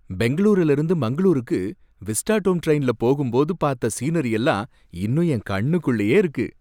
பெங்களூருல இருந்து மங்களூருக்கு விஸ்டாடோம் டிரைன்ல போகும்போது பார்த்த சீனரி எல்லாம் இன்னும் என் கண்ணுக்குள்ளயே இருக்கு.